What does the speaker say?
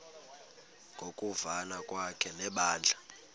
ngokuvana kwakhe nebandla